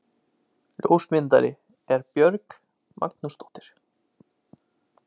Ljósmyndari er Björg Magnúsdóttir.